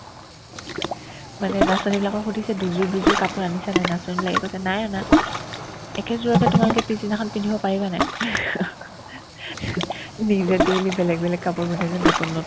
মানে নাচনীবিলাকক সুধিছে দুজোৰ দুজোৰ কাপোৰ আনিছানে নাই নাচনীবিলাকে কৈছে নাই অনা একেজোৰকে তোমালোকে পিছদিনাখন পিন্ধিব পাৰিবানে নাই নিজে daily বেলেগ কাপোৰ পিন্ধে যে নতুন নতুন